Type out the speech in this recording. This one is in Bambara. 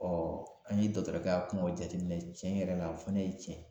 an ye dɔkɔtɔrɔkɛ kumaw jateminɛ cɛn yɛrɛ la o fana ye cɛn ye